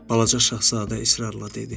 Balaca Şahzadə israrla dedi.